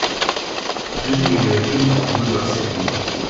покажи видеофильм выбор софи